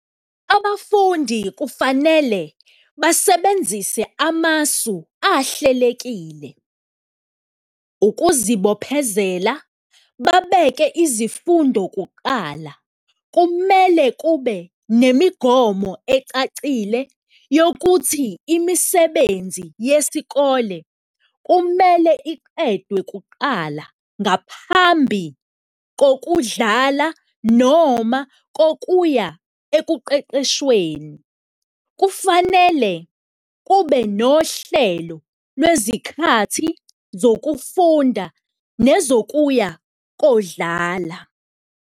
Abafundi kufanele basebenzise amasu ahlelekile ukuzibophezela, babeke izifundo kuqala. Kumele kube nemigomo ecacile yokuthi imisebenzi yesikole kumele iqediwe kuqala ngaphambi kokudlala noma kokuya ekuqeqeshweni, kufanele kube nohlelo lwezikhathi zokufunda nezokuya kodlala.